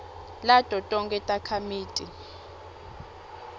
lato tonkhe takhamiti